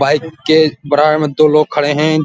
Bike के बराबर में दो लोग खड़े हैं।